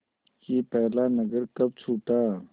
कि पहला नगर कब छूटा